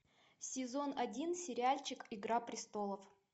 сезон один сериальчик игра престолов